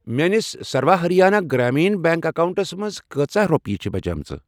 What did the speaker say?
میٲنِس Sarva Haryana Gramin bank accounts منٛز کۭژاہ رۄپیہِ چھِ بچیمٕژ؟